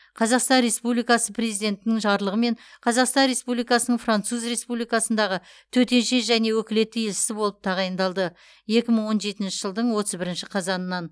қазақстан республикасы президентінің жарлығымен қазақстан республикасының француз республикасындағы төтенше және өкілетті елшісі болып тағайындалды екі мың он жетінші жылдың отыз бірінші қазаннан